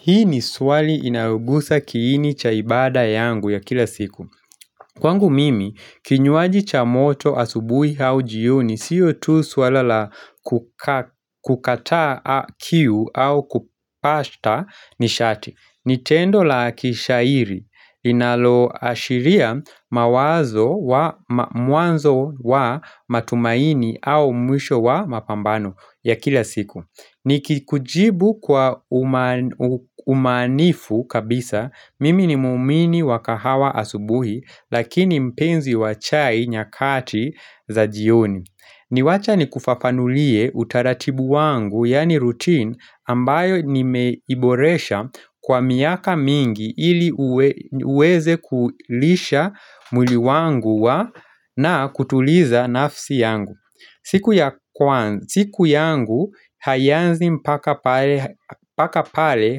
Hili ni swali inayogusa kiini cha ibada yangu ya kila siku. Kwangu mimi, kinywaji cha moto asubuhi au jioni sio tu suala la kukata kiu au kupasha ni shati. Ni tendo la kishairi linaloashiria mwanzo wa matumaini au mwisho wa mapambano ya kila siku. Nikikujibu kwa umaanifu kabisa, mimi ni muumini wa kahawa asubuhi lakini mpenzi wa chai nyakati za jioni. Niwache nikufafanulie utaratibu wangu yaani routine ambayo nimeiboresha kwa miaka mingi ili niweze kulisha mwili wangu na kutuliza nafsi yangu. Siku yangu haianzi mpaka pale mpaka pale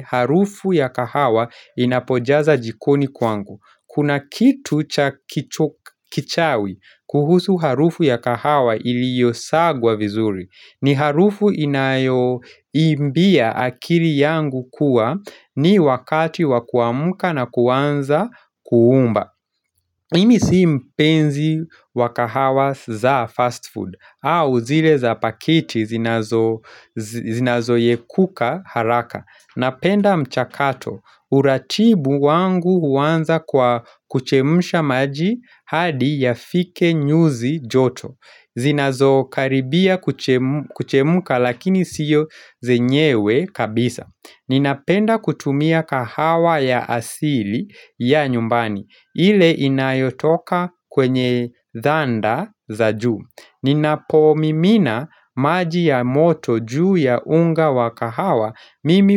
harufu ya kahawa inapojaza jikoni kwangu. Kuna kitu cha kichawi kuhusu harufu ya kahawa iliyosagwa vizuri. Ni harufu inayoambia akili yangu kuwa ni wakati wakuamka na kuanza kuomba. Mimi si mpenzi wa kahawa za fast food au zile za pakiti zinazoyekuka haraka. Napenda mchakato. Uratibu wangu huanza kwa kuchemsha maji hadi yafike nyuzi joto. Zinazokaribia kuchemuka lakini sio zenyewe kabisa. Ninapenda kutumia kahawa ya asili ya nyumbani ile inayotoka kwenye dhanda za juu. Ninapomimina maji ya moto juu ya unga wa kahawa Mimi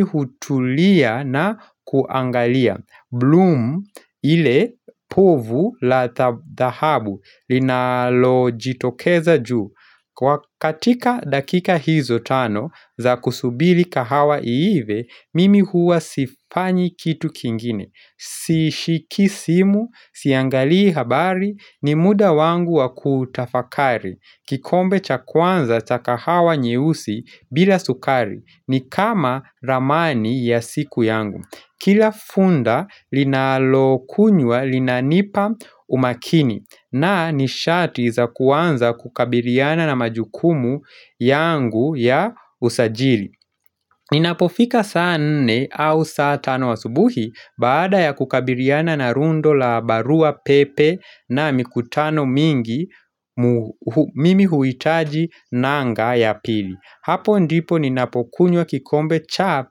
hutulia na kuangalia. Bloom ile povu la thahabu linalojitokeza juu. Kwa katika dakika hizo tano za kusubiri kahawa iive, mimi huwa sifanyi kitu kingine, sishiki simu, siangalii habari, ni muda wangu wakutafakari, kikombe cha kwanza cha kahawa nyeusi bila sukari, ni kama ramani ya siku yangu. Kila funda linalokunywa linanipa umakini na ni shati za kwanza kukabiliana na majukumu yangu ya usajiri. Ninapofika saa nne au saa tano asubuhi baada ya kukabiliana na rundo la barua pepe na mikutano mingi, mimi huhitaji nanga ya pili. Hapo ndipo ninapokunywa kikombe cha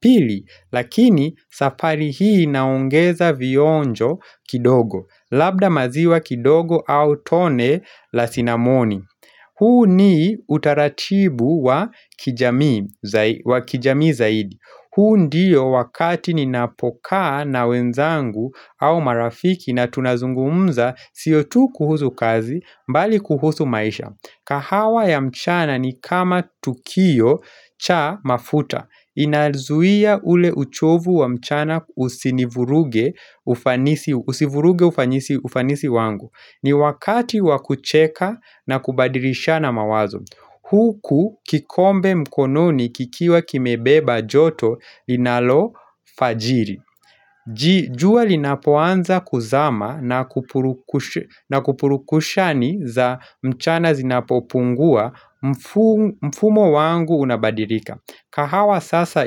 pili lakini safari hii naongeza vionjo kidogo Labda maziwa kidogo au tone la sinamoni huu ni utaratibu wa kijamii zaidi huu ndiyo wakati ninapokaa na wenzangu au marafiki na tunazungumza sio tu kuhusu kazi bali kuhusu maisha. Kahawa ya mchana ni kama tukio cha mafuta. Inazuia ule uchovu wa mchana usinivuruge usivuruge ufanisi wangu. Ni wakati wa kucheka na kubadilishana mawazo. Huku kikombe mkononi kikiwa kimebeba joto linalofajiri. Jua linapoanza kuzama na kupurukushani za mchana zinapopungua, mfumo wangu unabadilika. Kahawa sasa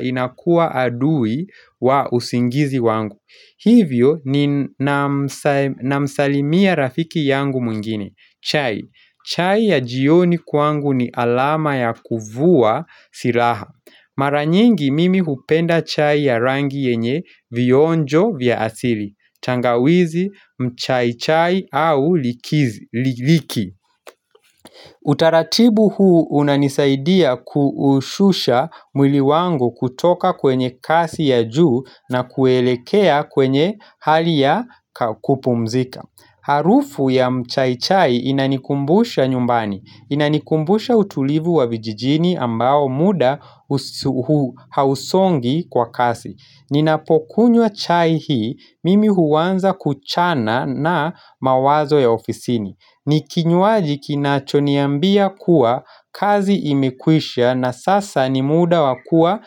inakuwa adui wa usingizi wangu. Hivyo namsalimia rafiki yangu mwingine. Chai. Chai ya jioni kwangu ni alama ya kuvua silaha. Mara nyingi mimi hupenda chai ya rangi yenye vionjo vya asili. Tangawizi, mchaichai au liki. Utaratibu huu unanisaidia kuushusha mwili wangu kutoka kwenye kasi ya juu na kuelekea kwenye hali ya kupumzika. Harufu ya mchai chai inanikumbusha nyumbani. Inanikumbusha utulivu wa vijijini ambao muda hausongi kwa kasi. Ninapokunywa chai hii, mimi huanza kuchana na mawazo ya ofisini. Ni kinywaji kinachoniambia kuwa kazi imekwisha na sasa ni muda wakuwa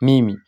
mimi.